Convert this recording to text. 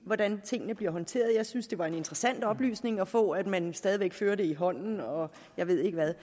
hvordan tingene bliver håndteret og jeg synes det var en interessant oplysning at få at man stadig væk indfører det i hånden og jeg ved ikke hvad